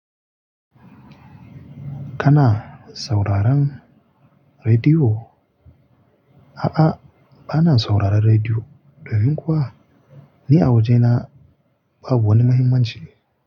Kana sauraron rediyo? A'a, ba na sauraron rediyo. Domin kuwa, ni a wajena babu wani mahimmanci.